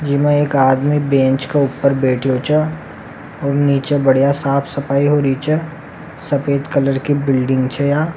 जीमें एक आदमी बैंच का ऊपर बैठयो छ और निचे बड़िया साफ़ सफाई हो री छ सफ़ेद कलर की बिल्डिंग छ यहां।